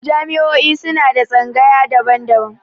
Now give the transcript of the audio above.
Jami'o'i suna da tsangayu daban-daban.